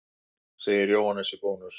Segir Jóhannes í Bónus.